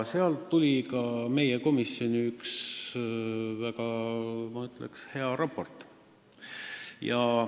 Sealt tuli ka meie komisjoni üks väga, ma ütleks, hea raport.